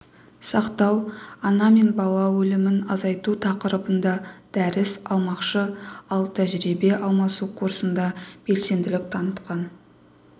сақтау ана мен бала өлімін азайту тақырыбында дәріс алмақшы ал тәжірибе алмасу курсында белсенділік танытқан